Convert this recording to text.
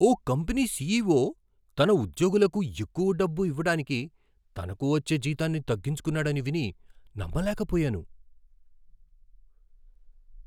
ఓ company CEO తన ఉద్యోగులకు ఎక్కువ డబ్బు ఇవ్వడానికి తనకు వచ్చే జీతాన్ని తగ్గించుకున్నాడని విని నమ్మలేకపోయాను.